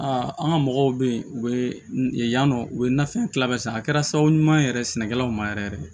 Aa an ka mɔgɔw bɛ yen u bɛ yen yan nɔ u bɛ nafɛn tila bɛɛ san a kɛra sababu ɲuman ye yɛrɛ sɛnɛkɛlaw ma yɛrɛ yɛrɛ